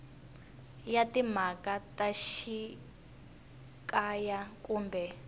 ya timhaka ta xikaya kumbe